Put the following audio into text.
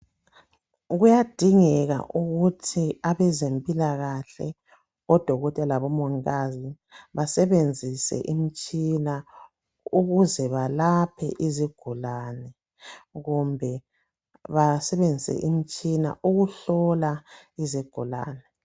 Kuyadingeka ukuthi abezempilakahle odokotela labomongikazi basebenzise imtshina ukuze balaphe izigulane kumbe basebenzise imtshina ukuhlola izigulane